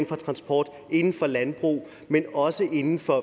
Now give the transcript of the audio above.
for transport og landbrug men også inden for